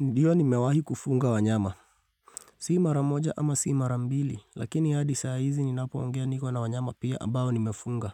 Ndiyo nimewahi kufuga wanyama. Si mara moja ama si mara mbili, lakini hadi saa hizi ninapoongea niko na wanyama pia ambao nimefuga.